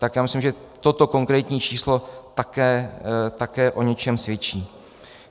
Tak já myslím, že toto konkrétní číslo také o něčem svědčí.